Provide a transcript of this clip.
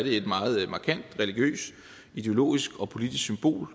et meget markant religiøst ideologisk og politisk symbol